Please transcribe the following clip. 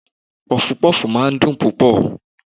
Pọfupọ́fù máa ń dùn púpọ̀.